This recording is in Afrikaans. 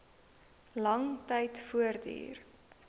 lang tyd voortduur